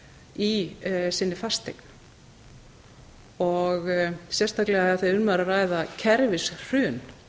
í sinni fasteign sérstaklega af því að um var að ræða kerfishrun